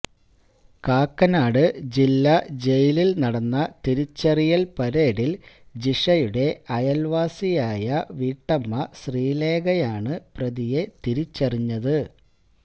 കാക്കനാട് ജില്ലാ ജയിലിൽ നടന്ന തിരിച്ചറിയൽ പരേഡിൽ ജിഷയുടെ അയൽവാസിയായ വീട്ടമ്മ ശ്രീലേഖയാണ് പ്രതിയെ തിരിച്ചറിഞ